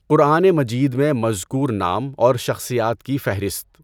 قرآن مجید میں مذکور نام اور شخصیات کی فہرست